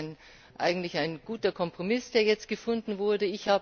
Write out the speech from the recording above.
Es ist eigentlich ein guter Kompromiss, der jetzt gefunden wurde.